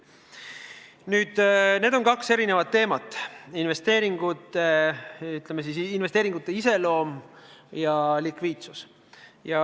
Nüüd, tegemist on kahe erineva teemaga: investeeringute iseloom ja likviidsus.